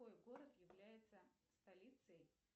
какой город является столицей